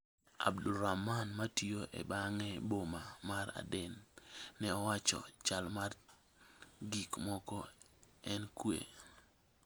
Abdulrahman, matiyo e bang' e boma mar Aden, ne owacho: "Chal mar gik moko en kwe.